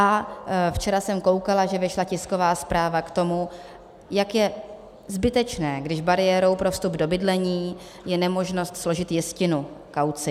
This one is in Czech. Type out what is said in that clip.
A včera jsem koukala, že vyšla tisková zpráva k tomu, jak je zbytečné, když bariérou pro vstup do bydlení je nemožnost složit jistinu, kauci.